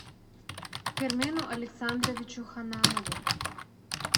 кермену александровичу ханнанову